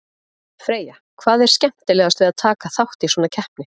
Freyja, hvað er skemmtilegast við að taka þátt í svona keppni?